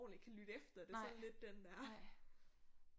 Ordentlig kan lytte efter det sådan lidt den der